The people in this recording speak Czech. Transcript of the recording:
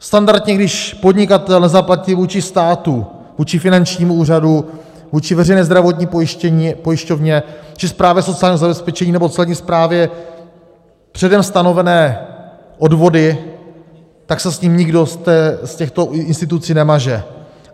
Standardně když podnikatel nezaplatí vůči státu, vůči finančnímu úřadu, vůči Veřejné zdravotní pojišťovně či správě sociálního zabezpečení nebo Celní správě předem stanovené odvody, tak se s ním nikdo z těchto institucí nemaže.